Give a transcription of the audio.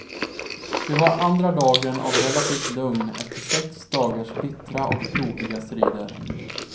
Det var andra dagen av relativt lugn efter sex dagars bittra och blodiga strider.